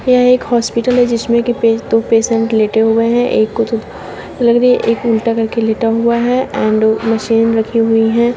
यह एक हॉस्पिटल है जिसमें की पे दो पेशेंट लेटे हुए हैं एक को तो लग रही एक उल्टा करके लेटा हुआ है एंड मशीन रखी हुई है।